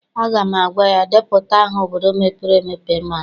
Aga m agwa ya, depụta aha obodo mepere emepe ị maara!